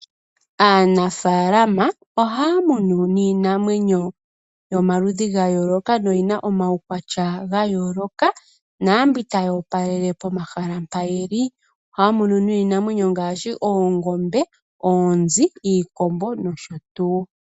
Aanafaalama ohaya munu niinamwenyo yomaludhi ga yooloka no yina omaukwatya ga yooloka. Naambi tayi opalele pomahala mpa yeli. Ohaya munu niinamwenyo ngaashi oongombe, iikombo, oonzi nosho tuu.